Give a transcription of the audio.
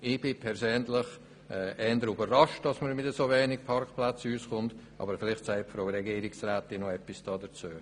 Ich bin persönlich eher überrascht, dass man mit so wenigen Parkplätzen auskommt, aber vielleicht sagt die Regierungsrätin noch etwas dazu.